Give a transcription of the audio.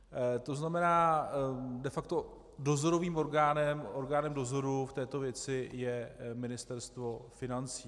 To znamená de facto, dozorovým orgánem, orgánem dozoru v této věci je Ministerstvo financí.